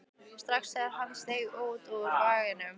strax þegar hann steig út úr vagninum.